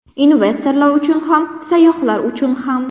Investorlar uchun ham, sayyohlar uchun ham.